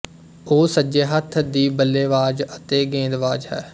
ਉਹ ਸੱਜੇ ਹੱਥ ਦੀ ਬੱਲੇਬਾਜ਼ ਅਤੇ ਗੇਂਦਬਾਜ਼ ਹੈ